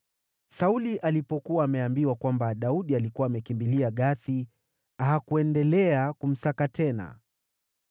Sauli alipokuwa ameambiwa kwamba Daudi alikuwa amekimbilia Gathi, hakuendelea kumsaka tena.